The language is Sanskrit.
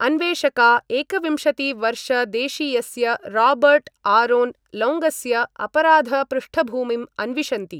अन्वेषका एकविंशतिवर्षदेशीयस्य रॉबर्टआरोन लौङ्गस्य अपराधपृष्ठभूमिम् अन्विषन्ति।